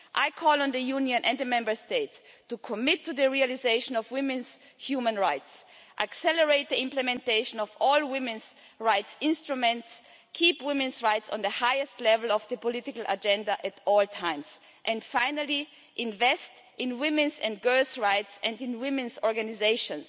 I call on the Union and the Member States to commit to the realisation of women's human rights, accelerate the implementation of all women's rights instruments, keep women's rights on the highest level of the political agenda at all times and, finally, invest in women's and girls' rights and in women's organisations.